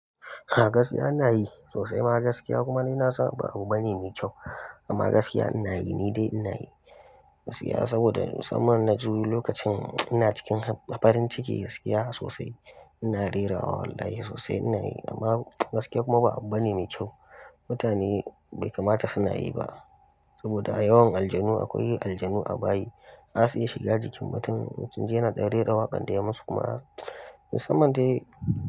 A gaskiya ina yi sosai ma gaskiya kuma ni na san ba abu bane mai kyau. Amma gaskiya ina yi, ni dai ina yi gaskiya saboda musamman na ji lokacin ina cikin farin ciki gaskiya sosai ina rera wa wallahi sosai ina yi. Amma gaskiya kuma ba abu bane mai kyau. Mutane bai kamata suna yi ba saboda a yawan aljanu akwai aljanu a bayi. Zasu iya shiga jikin mutum, mutum in sun ji yana ɗan rera waƙan da ya masu kuma musamman dai.